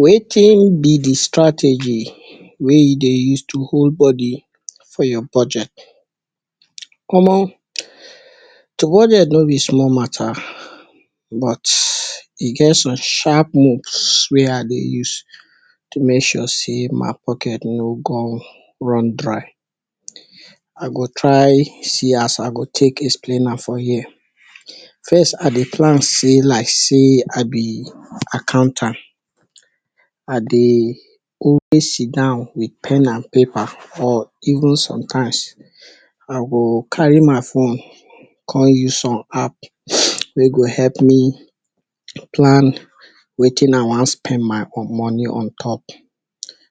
Watin be di strategy wey you dey use to hold body for your budget? Omo to budget no be small mata but e get some shatp moves wey I dey use to make sure sey my pocket tno come run dry I go try see as I go take explain am for hia. First I dey plan sey I life like sey I be accountant I dey sidon wit pan and paper or even sometimes I go carry my phone come use some app wey go help me plan watin I wan spend my money on top.